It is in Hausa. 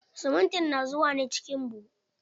Siminti na zuwa ne ciki buhu.